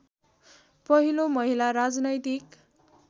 पहिलो महिला राजनैतिक